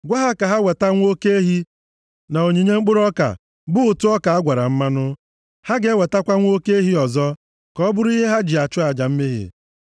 Gwa ha ka ha weta nwa oke ehi na onyinye mkpụrụ ọka, bụ ụtụ ọka a gwara mmanụ. Ha ga-ewetakwa nwa oke ehi ọzọ; ka ọ bụrụ ihe ha ji achụ aja mmehie.